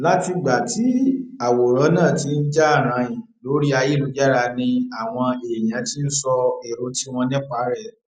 látìgbà tí àwòrán náà ti ń jà rànìn lórí ayélujára ni àwọn èèyàn ti ń sọ èrò tiwọn nípa rẹ